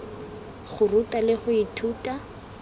go ruta le go ithuta